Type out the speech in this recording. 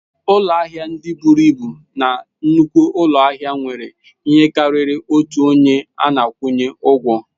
Ụlọ ahịa ndị buru ibu na nnukwu ụlọ ahịa nwere ihe karịrị otu onye a na-akwụnye ụgwọ.